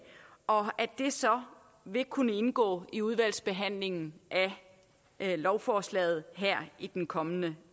og at det så vil kunne indgå i udvalgsbehandlingen af lovforslaget her i den kommende